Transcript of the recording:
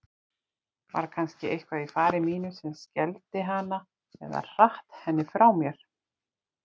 Var kannski eitthvað í fari mínu sem skelfdi hana eða hratt henni frá mér?